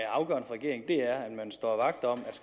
man står vagt om